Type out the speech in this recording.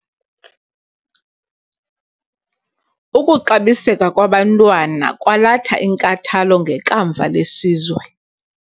Ukuxabiseka kwabantwana kwalatha inkathalo ngekamva lesizwe.